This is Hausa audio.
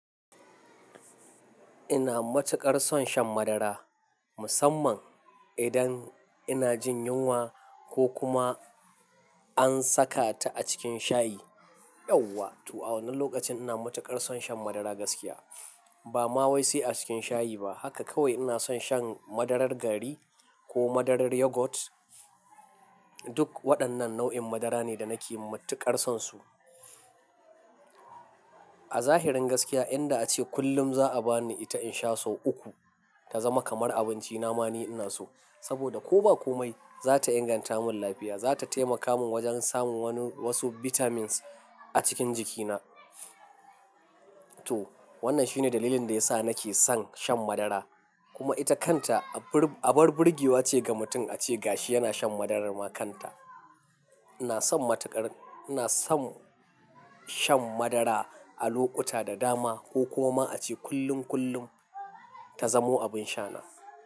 Ina matuƙar son shan madara, musamman idan ina jin yunwa ko kuma an saka ta a cikin shayi. Yauwa! To a wannan lokacin ina matuƙar son shan madara gaskiya. Ba ma wai sai a cikin shayi ba. Haka kawai ina son shan madarar gari ko madarar yogurt. Duk waɗannan nau'in madara ne da nake matuƙar son su. A zahirin gaskiya, inda ace kullum za'a bani ita in sha sau uku, ta zama kamar abinci na ma ni ina so. Saboda ko ba komai, za ta inganta mun lafiya, za ta taimaka mun wajen samun wasu vitamins a cikin jikina. To wannan shine dalilin da ya sa nake son shan madara. Kuma ita kanta abar burgewa ce ga mutum ace gashi yana shan madarar ma kanta. Ina son matuƙar, ina son shan madara a lokuta da dama ko kuma ace kullum kullum ta zamo abin sha na.